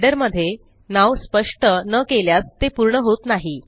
header मध्ये नाव स्पष्ट न केल्यास ते पूर्ण होत नाही